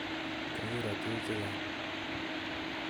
Kokiro tuguk che chang'.